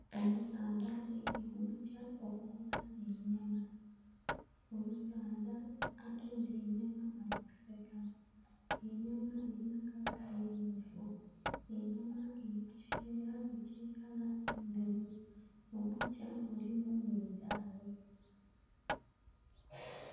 Omusaadha aidhye ku bukya okugula enyama, omusaadha atundha enyama ali kuseka nga enyama eri ku kala emyufu, enyama eri kukiveera ekya kala endheru mu bukya mulimu minzanhi